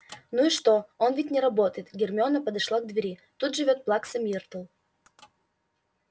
ну и что он ведь не работает гермиона подошла к двери тут живёт плакса миртл